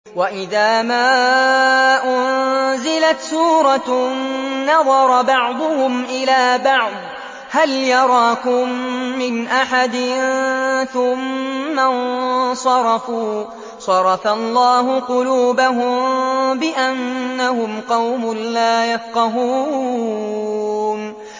وَإِذَا مَا أُنزِلَتْ سُورَةٌ نَّظَرَ بَعْضُهُمْ إِلَىٰ بَعْضٍ هَلْ يَرَاكُم مِّنْ أَحَدٍ ثُمَّ انصَرَفُوا ۚ صَرَفَ اللَّهُ قُلُوبَهُم بِأَنَّهُمْ قَوْمٌ لَّا يَفْقَهُونَ